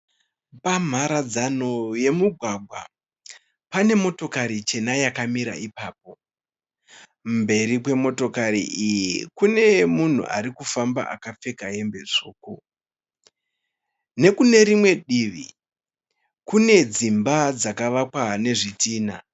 Pamharadzano yemugwagwa pane motokari chena yakamira ipapo, mberi kwemotokari iyi kune munhu arikufamba akapfeka hembe tsvuku. nekunerimwe divi kune dzimba dzakavakwa nezvidhinha.